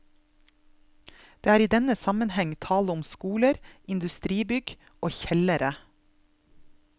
Det er i denne sammenheng tale om skoler, industribygg og kjellere.